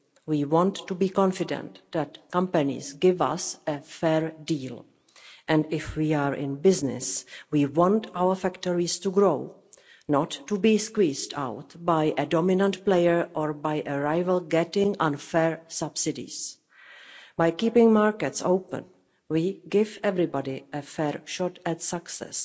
We want to be confident that companies are giving us a fair deal, and if we are in business we want our factories to grow, not to be squeezed out by a dominant player or by a rival getting unfair subsidies. By keeping markets open we give everybody a fair shot at success.